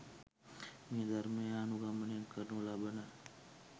මේ ධර්මය අනුගමනය කරනු ලබන